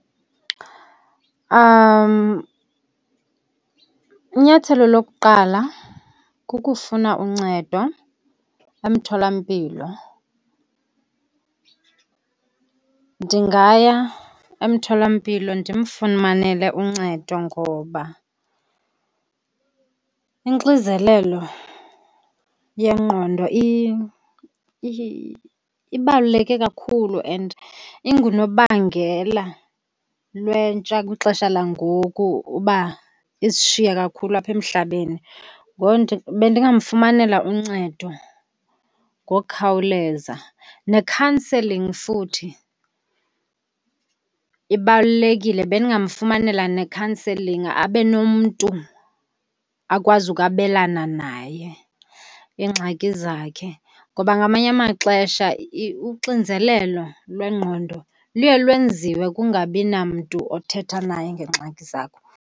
Inyathelo lokuqala kukufuna uncedo emtholampilo. Ndingaya emtholampilo ndimfumanele uncedo ngoba inxizelelo yengqondo ibaluleke kakhulu and ingunobangela lwentsha kwixesha langoku uba isishiye kakhulu apha emhlabeni. Bendingafumanela uncedo ngokukhawuleza. Nekhanselingi futhi ibalulekile, bendingamfumanela nekhanselingi abe nomntu akwazi ukwabelana naye iingxaki zakhe. Ngoba ngamanye amaxesha uxinzelelo lwengqondo luye lwenziwe kungabi namntu othetha naye ngeengxaki zakho.